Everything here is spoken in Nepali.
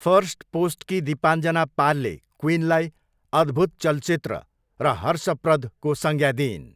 फर्स्टपोस्टकी दीपाञ्जना पालले क्विनलाई 'अद्भुत चलचित्र' र 'हर्षप्रद'को संज्ञा दिइन्।